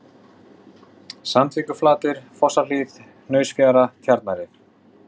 Sandvíkurflatir, Fossahlíð, Hnausafjara, Tjarnarrif